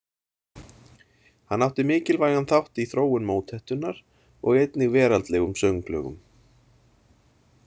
Hann átti mikilvægan þátt í þróun mótettunnar og einnig veraldlegum sönglögum.